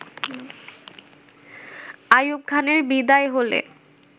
আইউব খানের বিদায় হলে